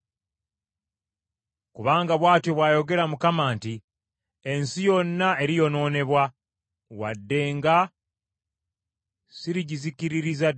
Kubanga bw’atyo bw’ayogera Mukama nti, “Ensi yonna eriyonoonebwa, wadde nga sirigizikiririza ddala.